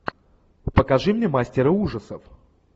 покажи мне мастера ужасов